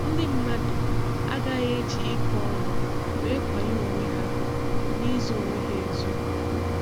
Ndị mmadụ agaghị e ji ịkọ ọnụ wee kwanyé onwe ha n'ịzo onwe ha ezo.